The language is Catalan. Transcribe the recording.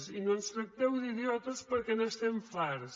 i no ens tracteu d’idiotes perquè n’estem farts